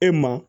E ma